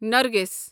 نرگِس